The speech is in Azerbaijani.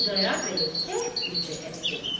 Xudayar bəyin tək bircə qəsdi var.